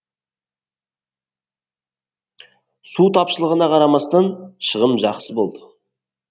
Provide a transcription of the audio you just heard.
су тапшылығына қарамастан шығым жақсы болды